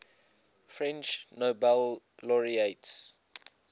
french nobel laureates